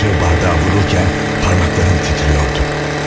Qaşığı bardağa vururkən barmaqlarım titrəyirdi.